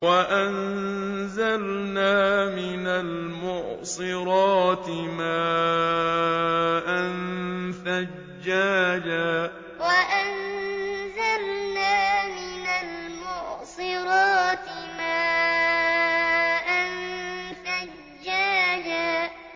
وَأَنزَلْنَا مِنَ الْمُعْصِرَاتِ مَاءً ثَجَّاجًا وَأَنزَلْنَا مِنَ الْمُعْصِرَاتِ مَاءً ثَجَّاجًا